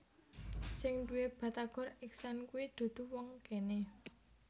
Sing nduwe Batagor Ikhsan kui dudu wong kene